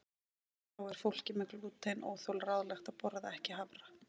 Þá er fólki með glútenóþol ráðlagt að borða ekki hafra.